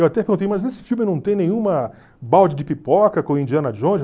Eu até perguntei, mas nesse filme não tem nenhuma balde de pipoca com Indiana Jones?